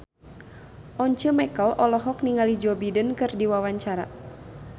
Once Mekel olohok ningali Joe Biden keur diwawancara